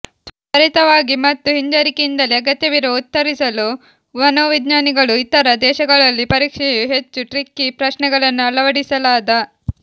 ತ್ವರಿತವಾಗಿ ಮತ್ತು ಹಿಂಜರಿಕೆಯಿಂದಲೇ ಅಗತ್ಯವಿರುವ ಉತ್ತರಿಸಲು ಮನೋವಿಜ್ಞಾನಿಗಳು ಇತರ ದೇಶಗಳಲ್ಲಿ ಪರೀಕ್ಷೆಯು ಹೆಚ್ಚು ಟ್ರಿಕಿ ಪ್ರಶ್ನೆಗಳನ್ನು ಅಳವಡಿಸಲಾದ